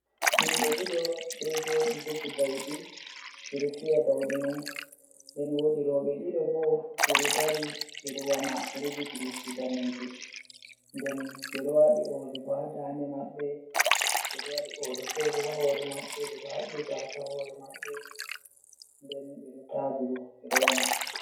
Yimɓe ɗiɗo ɗo jooɗi jogi bauɗe, ɓe ɗo fiya bauɗe mai, den woodi rowɓe ɗiɗo bo ɗo dari ɓe ɗo wama. Ɓe ɗo jogi lippi daneeje, den ɓe ɗo waali ooli ha daande maɓɓe, ɓe ɗo oode feere ha hoore maɓɓe. Ɓe ɗo haɓɓi gaasa hoore maɓɓe, den ɓe ɗo yaadi bo, ɓe ɗon wama.